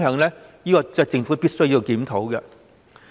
這是政府必須檢討的。